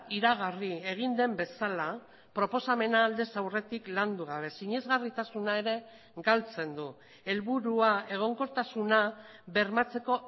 iragarri egin den bezala proposamena aldez aurretik landugabe sinesgarritasuna ere galtzen du helburua egonkortasuna bermatzeko